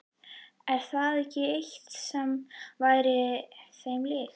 Er það ekki eitthvað sem væri þeim líkt?